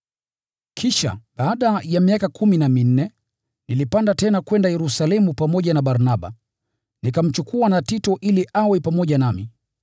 Kisha, baada ya miaka kumi na minne, nilipanda tena kwenda Yerusalemu pamoja na Barnaba, nikamchukua na Tito ili awe pamoja nami.